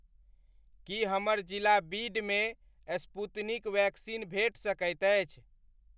की हमर जिला बीड मे स्पूतनिक वैक्सीन भेट सकैत अछि?